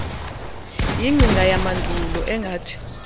yingcinga yamandulo engathi